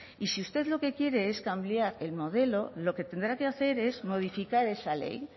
y si usted lo que quiere es cambiar el modelo lo que tendrá que hacer es modificar esa ley